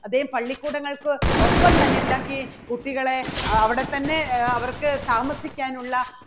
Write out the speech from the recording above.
അദ്ദേഹം പള്ളിക്കൂടങ്ങൾക്ക് ഒപ്പം തന്നെ എന്താക്കി കുട്ടികളെ അവിടെ തന്നെ അവർക്ക് താമസിക്കാനുള്ള